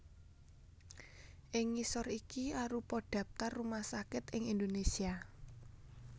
Ing ngisor iki arupa dhaptar rumah sakit ing Indonésia